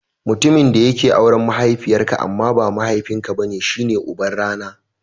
Mutumin da yake auren mahaifiyar ka amma ba mahaifin ka bane shi ne uban rana.